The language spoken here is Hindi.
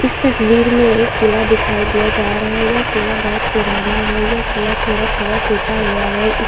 इस तस्वीर में एक किला दिखाई दिया जा रहा है या किला बहोत पुराना है यह किला थोड़ा थोड़ा टूटा हुआ है इस--